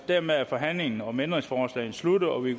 dermed er forhandlingen om ændringsforslagene sluttet og vi